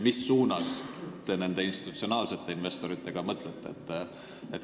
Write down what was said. Mis suunas te nende institutsionaalsete investorite osas tegutseda mõtlete?